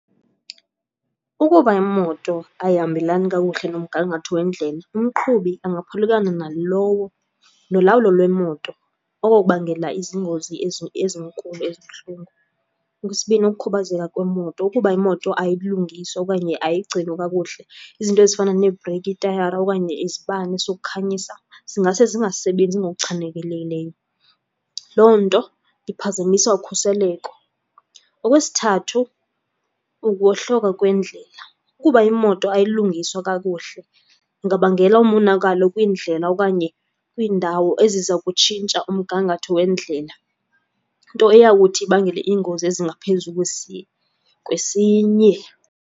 Ukuba imoto ayihambelani kakuhle nomgangatho wendlela, umqhubi angaphulukana nalowo nolawulo lwemoto, oko kubangela izingozi ezinkulu ezibuhlungu. Okwesibini, ukukhubazeka kwemoto. Ukuba imoto ayilungiswa okanye ayigcinwa kakuhle, izinto ezifana neebhreyiki, iitayara okanye izibane zokukhanyisa zingase zingasebenzi ngokuchanelelekileyo. Loo nto iphazamisa ukhuseleko. Okwesithathu, ukuwohloka kwendlela. Ukuba imoto ayilungiswa kakuhle ingabangela umonakalo kwiindlela okanye kwiindawo eziza kutshintsha umgangatho wendlela, nto eyawuthi ibangele iingozi ezingaphezu kwesinye.